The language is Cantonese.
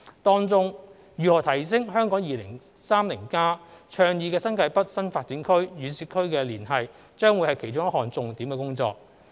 當中，如何提升《香港 2030+》倡議的新界北新發展區與市區的連繫將會是其中一項重點工作。